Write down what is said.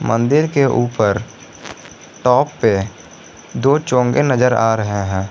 मंदिर के ऊपर टॉप पे दो चोंगे नजर आ रहे हैं।